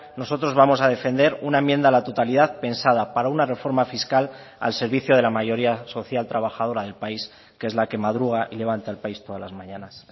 nosotros vamos a defender una enmienda a la totalidad pensada para una reforma fiscal al servicio de la mayoría social trabajadora del país que es la que madruga y levanta el país todas las mañanas